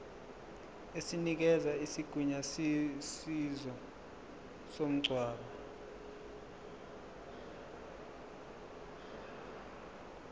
esinikeza isigunyaziso somngcwabo